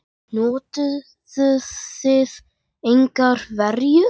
Notuðuð þið engar verjur?